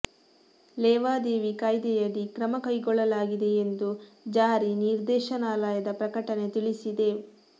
ಲೇವಾದೇವಿ ಕಾಯ್ದೆಯಡಿ ಕ್ರಮ ಕೈಗೊಳ್ಳಲಾಗಿದೆ ಎಂದು ಜಾರಿ ನಿರ್ದೇಶನಾಲಯದ ಪ್ರಕಟಣೆ ತಿಳಿಸಿದೆ